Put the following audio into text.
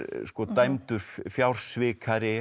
dæmdur